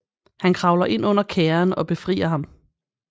Han kravler ind under kærren og befrier ham